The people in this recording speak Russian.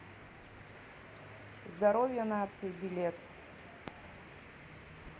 здоровье нации билет